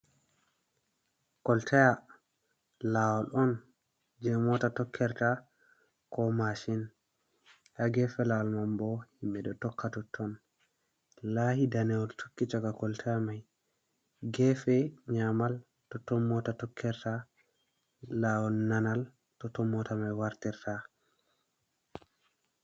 Koltaya. lawol on je mota tokkerta ko mashin, ha gefe lawol man bo, himɓe ɗo tokka totton. laahi danewol tokki caka koltaya mai gefe nyamal totton mota tokkirta, lawol nanal totton mota mai wartirta.